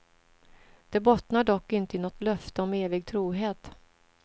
Det bottnar dock inte i något löfte om evig trohet.